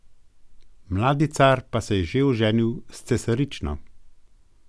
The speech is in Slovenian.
Mladi car pa se je že oženil s cesarično.